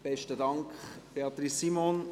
Besten Dank, Beatrice Simon.